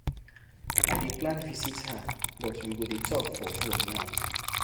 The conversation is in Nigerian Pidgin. I dey plan visit her but we go dey talk for fone now.